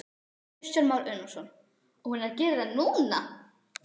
Kristján Már Unnarsson: Og hún er að gera það núna?